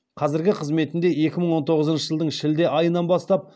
қазіргі қызметінде екі мың он тоғызыншы жылдың шілде айынан бастап